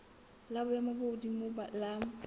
la boemo bo hodimo la